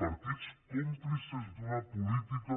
partits còmplices d’una política